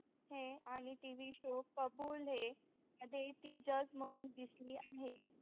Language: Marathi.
है आणि TV show कबूल है मध्ये ती जज म्हणून दिसली आहे.